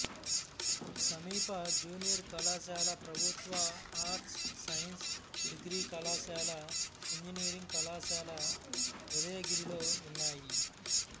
సమీప జూనియర్ కళాశాల ప్రభుత్వ ఆర్ట్స్ సైన్స్ డిగ్రీ కళాశాల ఇంజనీరింగ్ కళాశాల ఉదయగిరిలో ఉన్నాయి